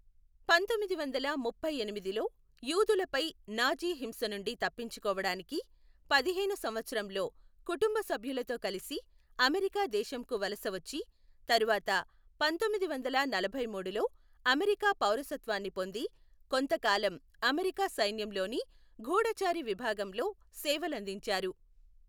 పంతొమ్మిది వందల ముప్పై ఎనిమిదిలో యూదులపై నాజీ హింస నుండి తప్పించుకోవడానికి పదిహేను సంవత్సరంలో కుటుంబ సభ్యులతో కలిసి అమెరికా దేశంకు వలస వచ్చి, తర్వాత పంతొమ్మిది వందల నలభైమూడులో అమెరికా పౌరసత్వాన్ని పొంది, కొంతకాలం అమెరికా సైన్యంలోని గూఢఛారి విభాగంలో సేవలందించారు.